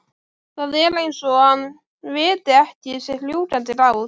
Það er eins og hann viti ekki sitt rjúkandi ráð.